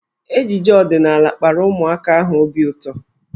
Ejije ọdịnaala kpara ụmụaka ahụ obi ụtọ.